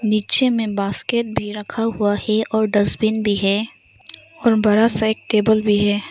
नीचे में बास्केट भी रखा हुआ है और डस्टबिन भी है और बड़ा सा एक टेबल भी है।